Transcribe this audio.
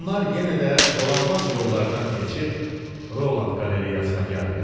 Onlar yenə də dolanbac yollardan keçib, Roland Qalereyasına gəldilər.